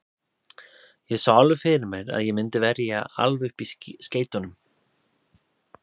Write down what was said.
Ég sá alveg fyrir mér að ég myndi verja alveg upp í skeytunum.